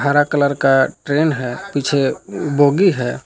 हरा कलर का ट्रैन है। पीछे बोगी है।